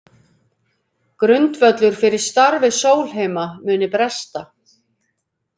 Grundvöllur fyrir starfi Sólheima muni bresta